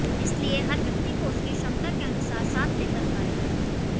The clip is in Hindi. इसलिए हर व्यक्ति को उसकी क्षमता के अनुसार साथ लेकर कार्य करें